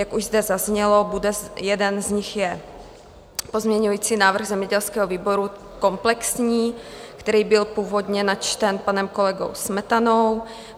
Jak už zde zaznělo, jeden z nich je pozměňující návrh zemědělského výboru komplexní, který byl původně načten panem kolegou Smetanou.